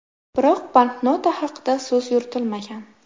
Biroq banknota haqida so‘z yuritilmagan.